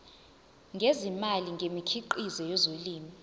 ngezimali ngemikhiqizo yezolimo